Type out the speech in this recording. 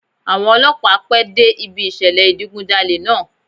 Àwọn Ọlọ́pàá pẹ́ dé ibi ìṣẹ̀lẹ̀ ìdigun jalè náà.